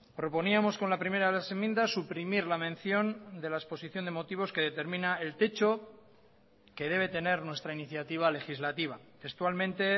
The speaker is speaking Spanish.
proponíamos con la primera de las enmiendas suprimir la mención de la exposición de motivos que determina el techo que debe tener nuestra iniciativa legislativa textualmente